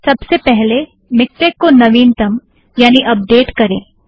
सबसे पहले मिक्टेक को नवीनतम यानि अपडेट करें